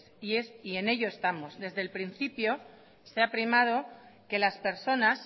y en ello estamos desde el principio se ha primado que las personas